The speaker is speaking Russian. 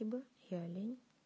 ибо я олень